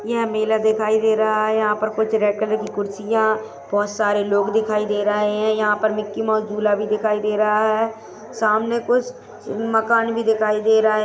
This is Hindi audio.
यहाँ मेला दिखाई दे रहा है यहाँ पर कुछ रेड कलर की कुर्सियां बहोत सारे लोग दिखाई दे रहे हैं यहाँ पर मिकी माउस झूला भी दिखाई दे रहा है सामने कुछ मकान भी दिखाई दे रहा है।